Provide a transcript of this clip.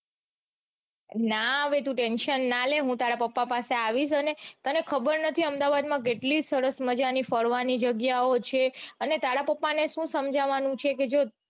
ના હવે તું tension ના લે હું તારા પાપા પાસે આવીશ અને તને ખબર નથી અમદાવાદમાં કેટલી સરસ મજાની ફરવાની જગ્યાઓ છે અને તારા પપા ને સુ સમજવાનું છે કે જો